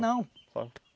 Não.